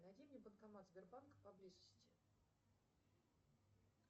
найди мне банкомат сбербанка поблизости